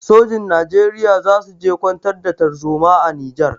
Sojin Najeriya za su je kwantar da tarzoma a Nijar.